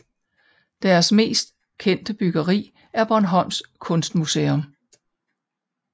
Deres mest kendte byggeri er Bornholms Kunstmuseum